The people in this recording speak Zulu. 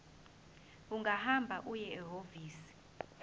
ungahamba uye ehhovisi